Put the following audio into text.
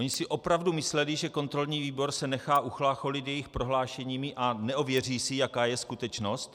Oni si opravdu mysleli, že kontrolní výbor se nechá uchlácholit jejich prohlášeními a neověří si, jaká je skutečnost?